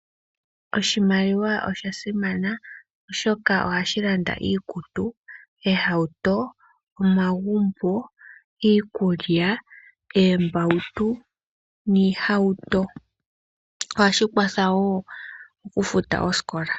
Oshimaliwa osha simana oshoka ohashi landa iikutu, oohauto , omagumbo, iikulya, oombautu noohauto ohashi kwatha woo oku futa osikola.